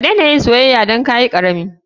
Kadena yin soyaya Dana kayikarami.